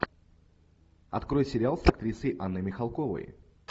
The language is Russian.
открой сериал с актрисой анной михалковой